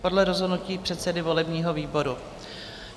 Podle rozhodnutí předsedy volebního výboru.